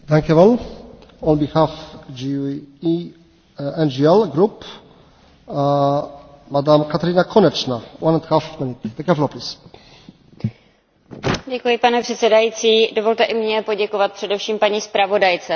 Pane předsedající, dovolte i mně poděkovat především paní zpravodajce, která se svého úkolu ujala opravdu zodpovědně, a myslím si, že to s námi jako stínovými zpravodaji neměla vždy jednoduché. Přesto vytvořila dokument a zprávu, která je velmi ambiciózní